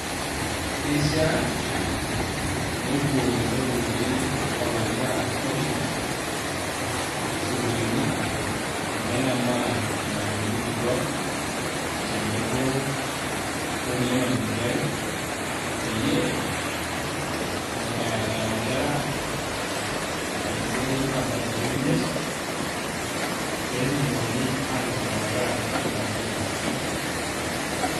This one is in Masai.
Keishaa nepuo lelo turruri oopikaki nkera coding sukuulini neng'amaa lelo malimuni kituaak tenebo okulie malimuni ake peyie ee eyau nkera enkaradasini enye einoto aa birth certificate pee etumokini aatipik nena kera ina program.